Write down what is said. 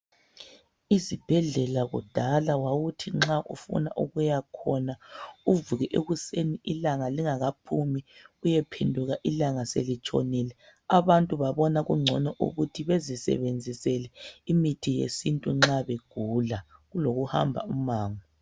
Esibhedlela kudala wawuthi nxa ufuna ukuyakhona uvuke ekuseni ilanga lingakaphumi uyephenduka ilanga selitshonile. Abantu babona ukuthi bezisebenzisele imithi yesintu nxa begula kulokuhamba umango.